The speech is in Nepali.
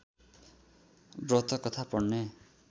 व्रतकथा पढ्ने